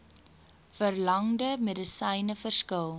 verlangde medisyne verskil